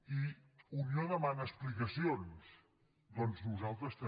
i unió demana explicacions doncs nosaltres també